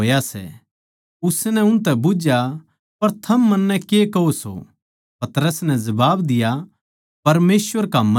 उसनै उनतै बुझ्झया पर थम मन्नै के कहो सो पतरस नै जबाब दिया परमेसवर का मसीह